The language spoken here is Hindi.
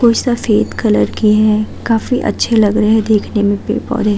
कोई सफेद कलर की है काफी अच्छे लग रहे देखने मे पेड़ पोधे --